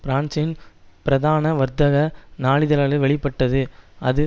பிரான்சின் பிரதான வர்த்தக நாளிதழான வெளி பட்டது அது